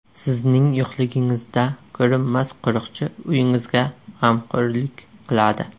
Sizning yo‘qligingizda ko‘rinmas qo‘riqchi uyingizga g‘amxo‘rlik qiladi.